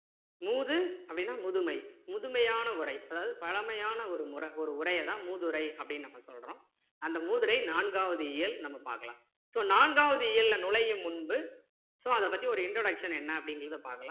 மூது அப்படின்னா முதுமை முதுமையான உரை அதாவது பழமையான ஒரு உரைய தான் மூதுரை அப்படின்னு நம்ம சொல்றோம் அந்த மூதுரை நான்காவது இயல் நம்ம பார்க்கலாம் so நான்காவது இயல்ல நுழையும் முன்பு so அதை பத்தி ஒரு introduction என்ன அப்படிங்கிறத பார்க்கலாம்